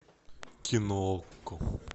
кино окко